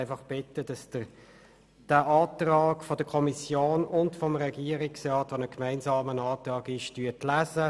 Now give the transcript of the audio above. Ich bitte Sie, den gemeinsamen Antrag von Regierungsrat und Kommission zu lesen.